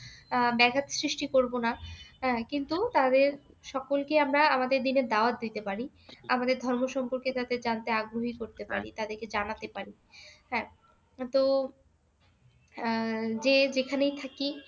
আহ ব্যাঘাত সৃষ্টি করবো না। হ্যাঁ? কিন্তু তাদের সকলকে আমরা আমাদের দীনের দাওয়াত দিতে পারি, আমাদের ধর্ম সম্পর্কে যাতে জানতে আগ্রহী করতে পারি, তাদেরকে জানাতে পারি, হ্যাঁ? তো আহ যে যেখানেই থাকি